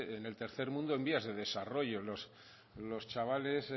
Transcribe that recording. en el tercer mundo en vías de desarrollo los chavales